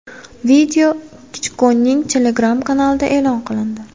Video Klichkoning Telegram kanalida e’lon qilindi.